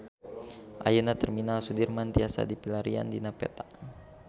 Ayeuna Terminal Sudirman tiasa dipilarian dina peta